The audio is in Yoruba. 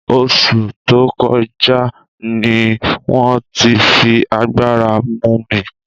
Osu to koja ni won ti fi agbara mu mi